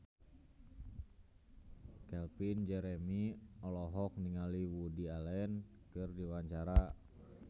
Calvin Jeremy olohok ningali Woody Allen keur diwawancara